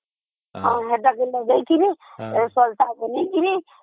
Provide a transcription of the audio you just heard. ସେଇଟା ମୁଁ ଦେଖିବି ସଳିତା ବନେଇକରି